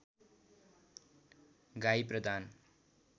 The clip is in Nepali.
गाई प्रदान